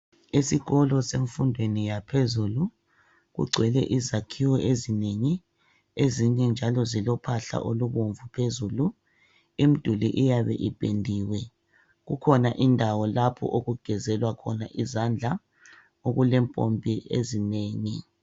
Esikolo semfundweni yaphezulu kugcwele izakhiwo ezinengi, ezinye njalo zilophahla olubomvu phezulu, kukhona indawo lapho okugezelwa khona izandla okulempompi ezinengi.